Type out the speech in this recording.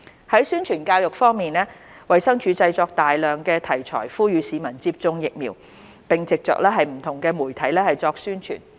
在宣傳教育方面，衞生署製作大量題材呼籲市民接種疫苗，並藉着不同媒體作宣傳。